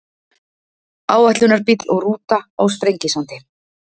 Áætlunarbíll og rúta á Sprengisandi.